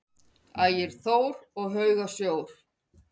Ægir Þór: Og hauga sjór?